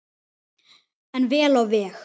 En vel á veg.